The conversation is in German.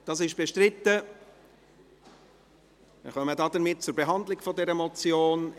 – Das ist bestritten, wir kommen damit zur Behandlung der Motion.